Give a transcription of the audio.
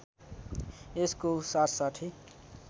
यसको साथसाथै